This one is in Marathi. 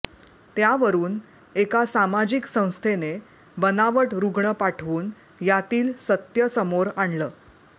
त्यावरुन एका सामाजिक संस्थेने बनावट रुग्ण पाठवून यातील सत्य समोर आणलं